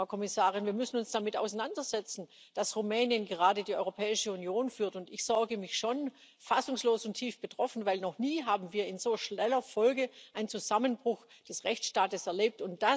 Frau Kommissarin, wir müssen uns damit auseinandersetzen, dass Rumänien gerade die Europäische Union führt, und ich sorge mich schon fassungslos und tief betroffen, denn noch nie haben wir in so schneller Folge einen Zusammenbruch des Rechtsstaats erlebt.